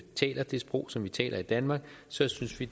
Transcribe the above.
taler det sprog som vi taler i danmark synes vi